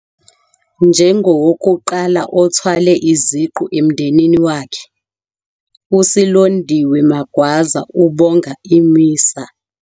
Njengowokuqala othwale iziqu emndenini wakhe, uSilondiwe Magwaza ubonga i-MISA.